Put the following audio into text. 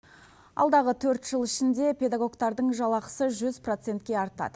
алдағы төрт жыл ішінде педагогтардың жалақысы жүз процентке артады